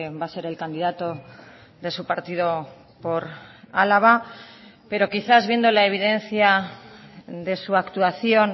va a ser el candidato de su partido por álava pero quizás viendo la evidencia de su actuación